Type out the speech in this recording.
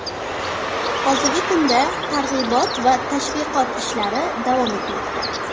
Hozirgi kunda targ‘ibot va tashviqot ishlari davom etmoqda.